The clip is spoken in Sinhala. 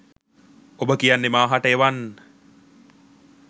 ඔබ කියන්නේ මා හට එවන්